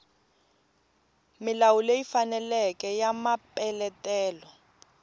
milawu leyi faneleke ya mapeletelo